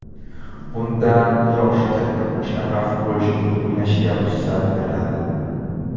Bundan yoshi katta uch nafar futbolchining o‘ynashiga ruxsat beriladi.